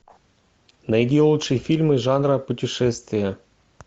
найди лучшие фильмы жанра путешествие